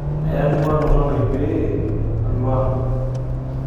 Ayamua to oltau lai pee alo ang.